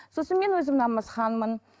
сосын мен өзім намазханмын